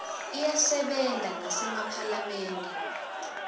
iyasebenta nasema phalamende